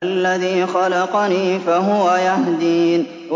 الَّذِي خَلَقَنِي فَهُوَ يَهْدِينِ